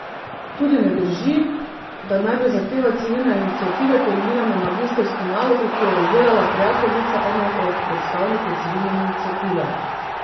Tudi ne drži, da naj bi zahteva civilne iniciative temeljila na magistrski nalogi, ki jo je izdelala prijateljica enega od predstavnikov civilne iniciative.